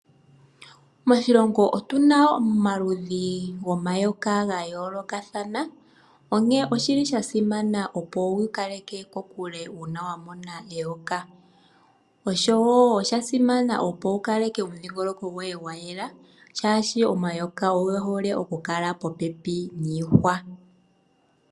Moshilongo otuna mo omaludhi gomayoka ga yoolokathana, onkene oshili sha simana opo wu ikaleke kokule uuna wa mona eyoka, oshowo osha simana opo wu kaleke omudhingoloko goye gwayela shaashi omayoka oge hole oku kala popepi niihwa